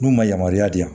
N'u ma yamaruya di yan